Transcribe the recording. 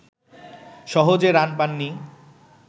সহজে রান পাননি